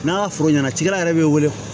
N'an ka foro ɲɛnacikɛla yɛrɛ bɛ wele